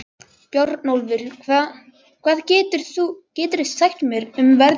Bjarnólfur, hvað geturðu sagt mér um veðrið?